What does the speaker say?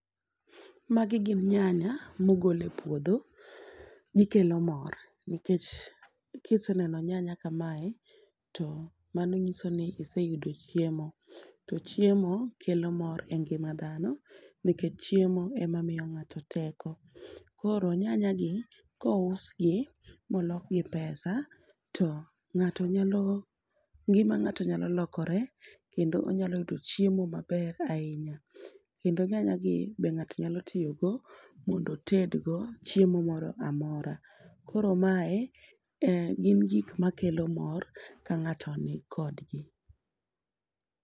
Magi gin nyanya mogol e puodho gikelo mor nikech kiseneno nyanya kamae to mano nyiso ni iseyudo chiemo. To chiemo kelo mor e ngima dhano nikech chiemo emamiyo ng'ato teko . Koro nyanya gi kousgi molok gi pesa to ng'ato nyalo ngima ng'ato nyalo lokore kendo ginyalo yudo chiemo maber ahinya. Kendo nyanya gi be ng'ato nyalo tiyo go mondo otedgo chiemo moro amora, koro mae en gin gik makelo mor ka ng'ato nikod gi.